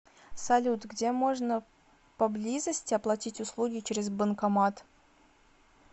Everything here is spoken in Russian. салют где можно поблизости оплатить услуги через банкомат